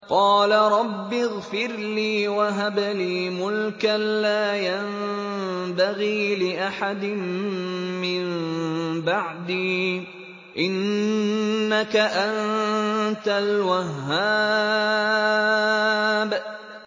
قَالَ رَبِّ اغْفِرْ لِي وَهَبْ لِي مُلْكًا لَّا يَنبَغِي لِأَحَدٍ مِّن بَعْدِي ۖ إِنَّكَ أَنتَ الْوَهَّابُ